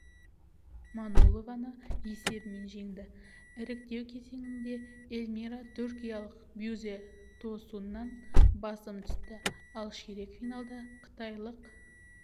манолованы есебімен жеңді іріктеу кезеңінде эльмира түркиялық бюзе тосуннан басым түсті ал ширек финалда қытайлық